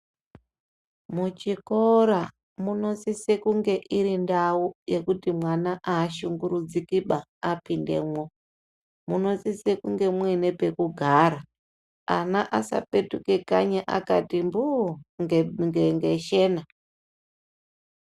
Muchikora munosise kunge irindau yekuti mwana ashungurudzikiba apindemwo munosise kunge mune pekugara ana asapetuke kanyi akati mbuu ngeshena.